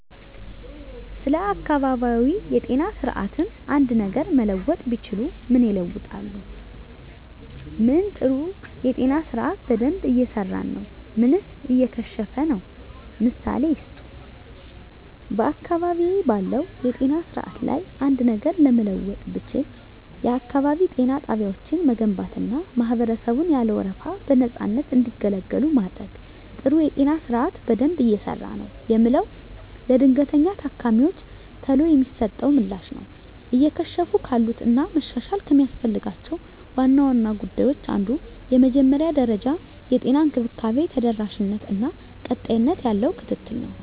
ስለ አካባቢያዊ የጤና ስርዓትዎ አንድ ነገር መለወጥ ቢችሉ ምን ይለውጣሉ? ምን ጥሩ የጤና ስርአት በደንብ እየሰራ ነው ምንስ እየከሸፈ ነው? ምሳሌ ይስጡ። *በአካባቢዬ ባለው የጤና ስርዓት ላይ አንድ ነገር ለመለወጥ ብችል፣ *የአካባቢ ጤና ጣቢያዎችን መገንባትና ማህበረሰቡን ያለ ወረፋ በነፃነት እንዲገለገሉ ማድረግ። *ጥሩ የጤና ስርዓት በደንብ እየሰራ ነው የምለው፦ ለድንገተኛ ታካሚወች ቶሎ የሚሰጠው ምላሽ ነው። *እየከሸፉ ካሉት እና መሻሻል ከሚያስፈልጋቸው ዋና ዋና ጉዳዮች አንዱ የመጀመሪያ ደረጃ የጤና እንክብካቤ ተደራሽነት እና ቀጣይነት ያለው ክትትል ነው።